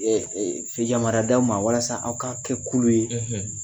yamariya d'aw ma walasa aw ka kɛ kulu ye,